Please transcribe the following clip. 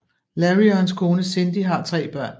Larry og hans kone Cindi har tre børn